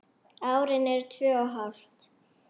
Árin eru tvö og hálft.